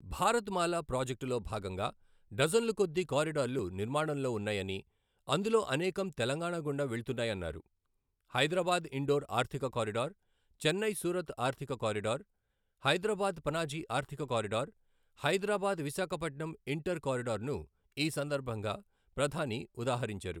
భారత్ మాల ప్రాజెక్టులో భాగంగా డజన్ల కొద్దీ కారిడార్లు నిర్మాణంలో ఉన్నాయని, అందులో అనేకం తెలంగాణ గుండా వెళుతున్నాయన్నారు. హైదరాబాద్ ఇండోర్ ఆర్థిక కారిడార్, చెన్నై సూరత్ ఆర్థిక కారిడార్, హైదరాబాద్ పనాజీ ఆర్థిక corridor, Hyderabad Visakhapatnam inter corridor ను ఈ సందర్భంగా ప్రధాని ఉదాహరించారు.